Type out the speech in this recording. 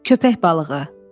Köpək balığı.